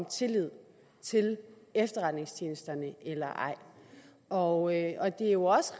tillid til efterretningstjenesterne eller ej og det er jo også